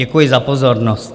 Děkuji za pozornost.